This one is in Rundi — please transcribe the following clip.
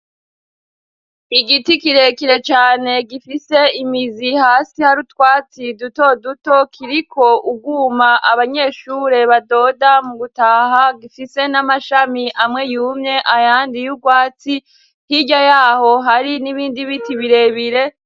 Igiti kirekire cane gifise imizi. Hasi hari utwatsi duto duto kiriko urwuma abanyeshure badoda mu gutaha .Gifise n'amashami amwe yumye ayandi yubwatsi hirya yaho hari n'ibindi biti birebire.